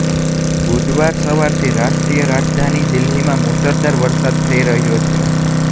બુધવાર સવારથી રાષ્ટ્રીય રાજધાની દિલ્હીમાં મૂસળાધાર વરસાદ થઈ રહ્યો છે